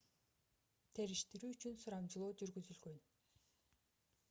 териштирүү үчүн сурамжылоо жүргүзүлгөн